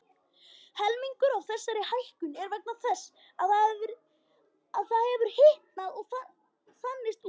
Helmingur af þessari hækkun er vegna þess að hafið hefur hitnað og þanist út.